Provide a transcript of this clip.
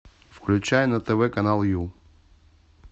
включай на тв канал ю